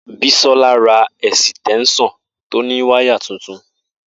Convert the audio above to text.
Bisola ra esitensan to ni wire tuntun